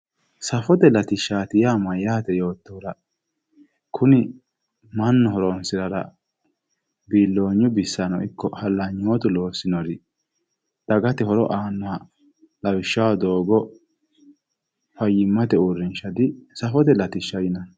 Safote latishshaati yaa mayyaate yoottohura kuni mannu horonsirara biiloonyu bissano ikko hallanyootu loossinori dagate horo aannori lawishshaho doogo fayyimate uurinsha disafote latishsha yinanni.